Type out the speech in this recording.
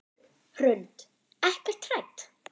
Hrund: Ekkert hrædd?